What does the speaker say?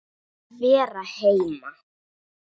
Að vera heima.